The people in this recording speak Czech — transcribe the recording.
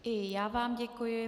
I já vám děkuji.